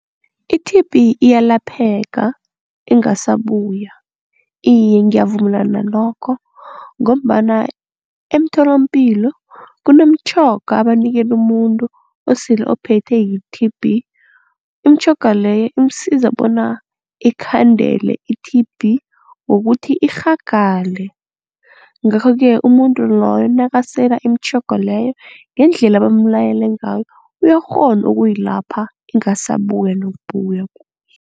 I-T_B iyalapheka ingasabuya. Iye ngiyavumelana nalokho ngombana emtholampilo kunomtjhoga abanikela umuntu osele ophethe yi-T_B. Imitjhoga leyo imsiza bona ikhandele i-T_B ngokuthi irhagale. Ngakho-ke umuntu loyo nakasela imitjhoga leyo ngendlela bamlayele ngayo uyarhona ukuyilapha ingasabuya nokubuya.